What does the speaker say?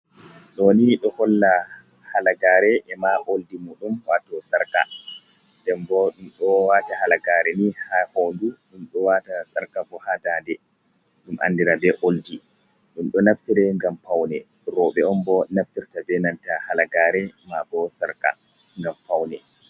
Ɗo ni ɗo holla halagare e ma oldi muɗum wato sarka, den bo ɗum ɗo wata halagari ni ha hoɗu, ɗum ɗo waɗa sarka bo ha dade ɗum andira be oldi ɗum ɗo naftire ngam faune, roɓɓe on bo naftirta be nanta halagare mabo sarka ngam faune.